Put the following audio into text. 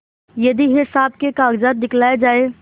यदि हिसाब के कागजात दिखलाये जाएँ